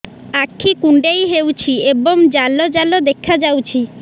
ଆଖି କୁଣ୍ଡେଇ ହେଉଛି ଏବଂ ଜାଲ ଜାଲ ଦେଖାଯାଉଛି